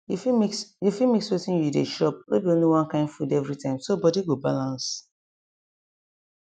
you fit mix you fit mix wetin you dey chopno be only one kain food every time so body go balance